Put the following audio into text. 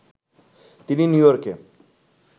তিনি নিউইয়র্কে